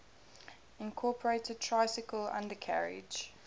incorporated tricycle undercarriage